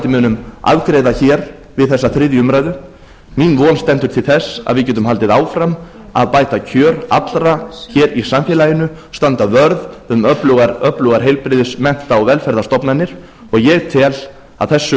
munum afgreiða hér við þessa þriðju umræðu mín von stendur til þess að við getum haldið áfram að bæta kjör allra hér í samfélaginu standa vörð um öflugar heilbrigðis mennta og velferðarstofnanir ég tel að þessu